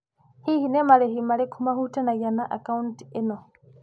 Hihi nĩ marĩhi marĩkũ mahutanĩtie na akaũnti ĩno.